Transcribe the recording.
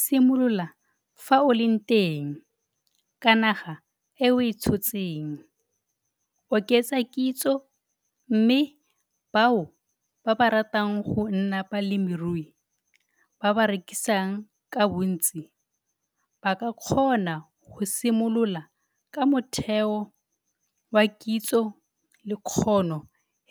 Simolola fa o leng teng, ka naga e o e tshotseng - oketsa kitso mme bao ba ba ratang go nna balemirui ba ba rekisang ka bontsi ba ka kgona go simolola ka motheo wa kitso le kgono